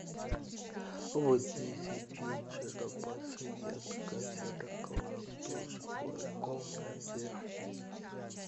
в десять вечера подсветка зеркала в душевой комнате